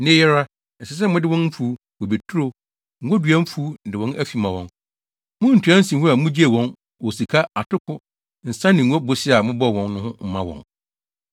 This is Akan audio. Nnɛ yi ara, ɛsɛ sɛ mode wɔn mfuw, bobeturo, ngodua mfuw ne wɔn afi ma wɔn. Muntua nsiho a mugyee wɔn wɔ sika, atoko, nsa ne ngo bosea a mobɔɔ wɔn no mma wɔn.”